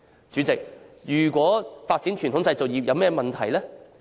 主席，發展傳統製造業有甚麼問題？